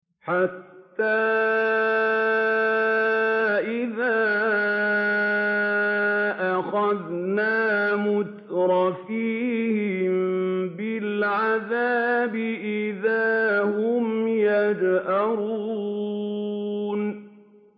حَتَّىٰ إِذَا أَخَذْنَا مُتْرَفِيهِم بِالْعَذَابِ إِذَا هُمْ يَجْأَرُونَ